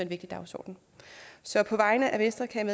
vigtig dagsorden så på vegne af venstre kan